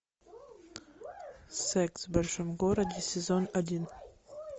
секс в большом городе сезон один